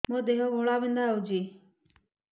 ମୋ ଦେହ ଘୋଳାବିନ୍ଧା ହେଉଛି